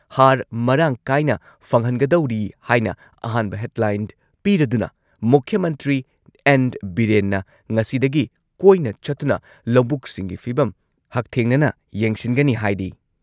ꯍꯥꯔ ꯃꯔꯥꯡ ꯀꯥꯏꯅ ꯐꯪꯍꯟꯒꯗꯧꯔꯤ ꯍꯥꯏꯅ ꯑꯍꯥꯟꯕ ꯍꯦꯗꯂꯥꯏꯟ ꯄꯤꯔꯗꯨꯅ ꯃꯨꯈ꯭ꯌ ꯃꯟꯇ꯭ꯔꯤ ꯑꯦꯟ. ꯕꯤꯔꯦꯟꯅ ꯉꯁꯤꯗꯒꯤ ꯀꯣꯏꯅ ꯆꯠꯇꯨꯅ ꯂꯧꯕꯨꯛꯁꯤꯡꯒꯤ ꯐꯤꯚꯝ ꯍꯛꯊꯦꯡꯅꯅ ꯌꯦꯡꯁꯤꯟꯒꯅꯤ ꯍꯥꯏꯔꯤ ꯫